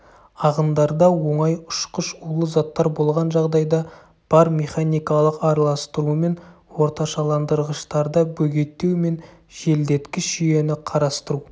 ағындарда оңай ұшқыш улы заттар болған жағдайда бар механикалық араластырумен орташаландырғыштарда бөгеттеу мен желдеткіш жүйені қарастыру